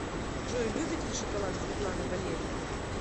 джой любит ли шоколад светлана валерьевна